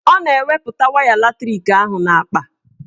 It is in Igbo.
Ọ na-eweputa waya latrik ahụ n'akpa